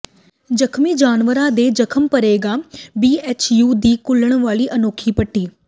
ਜਖਮੀ ਜਵਾਨਾਂ ਦੇ ਜ਼ਖਮ ਭਰੇਗੀ ਬੀਐਚਯੂ ਦੀ ਘੁਲਣ ਵਾਲੀ ਅਨੋਖੀ ਪੱਟੀ